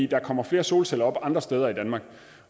der kommer flere solceller op andre steder i danmark